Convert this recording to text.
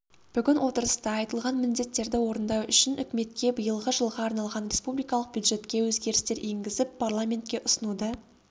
бүгін отырыста айтылған міндеттерді орындау үшін үкіметке биылғы жылға арналған республикалық бюджетке өзгерістер енгізіп парламентке ұсынуды